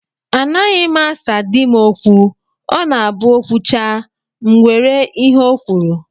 Anaghịkwa m asa di m okwu. Ọ na-abụ O kwuchaa, m were ihe ọ kwuru